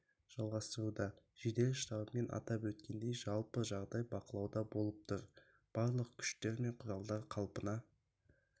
жалғастыруда жедел штабымен атап өткендей жалпы жағдай бақылауда болып тұр барлық күштер мен құралдар қалпына